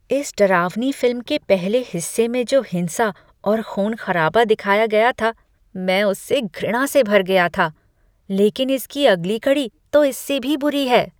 इस डरावनी फिल्म के पहले हिस्से में जो हिंसा और ख़ून खराबा दिखाया गया था मैं उससे घृणा से भर गया था, लेकिन इसकी अगली कड़ी में तो इससे भी बुरी है।